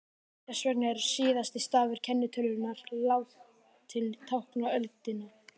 Þess vegna er síðasti stafur kennitölunnar látinn tákna öldina.